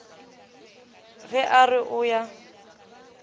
ge a re o ya